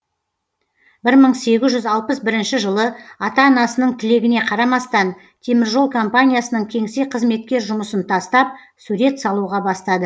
бір мың сегіз жүз алпыс бірінші жылы ата анасының тілегіне қарамастан теміржол компаниясының кеңсе кызметкер жұмысын тастап сурет салуға бастады